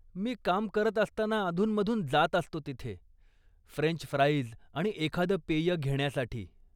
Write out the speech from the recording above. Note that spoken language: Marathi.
मी काम करत असताना अधून मधून जात असतो तिथे, फ्रेंच फ्राईज आणि एखादं पेय घेण्यासाठी.